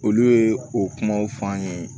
Olu ye o kumaw fɔ an ye